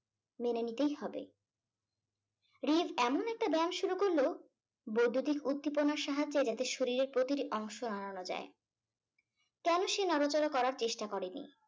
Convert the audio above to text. মেনে নিতেই হবে। এমন একটা ব্যায়াম শুরু করলো বৈদ্যুতিক উদ্দীপনার সাহায্যে যাতে শরীরের প্রতিটি অংশ নাড়ানো যায় । কেন সে নড়াচড়া করার চেষ্টা করেনি?